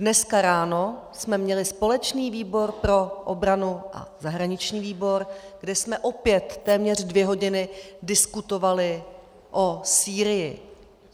Dneska ráno jsme měli společný výbor pro obranu a zahraniční výbor, kdy jsme opět téměř dvě hodiny diskutovali o Sýrii.